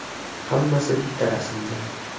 Hammasi bitta rasmda.